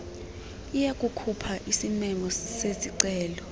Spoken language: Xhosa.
iyakukhupha isimemo sezicelo